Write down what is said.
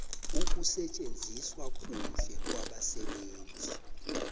ukusetjenziswa kuhle kwabasebenzi